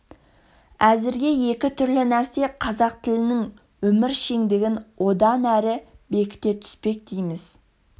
әзірге екі түрлі нәрсе қазақ тілінің өміршеңдігін одан әрі бекіте түспек дейміз